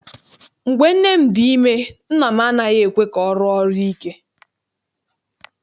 Mgbe nne m dị ime nna m anaghị ekwe ka ọ rụọ ọrụ ike.